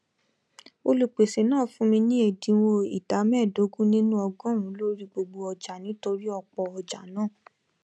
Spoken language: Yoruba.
olùpèsè náà fún mi ní ẹ̀dínwó ìdá mẹẹdógún nínú ọgọrùnún lórí gbogbo ọjà nítorí ọpọ ọjà náà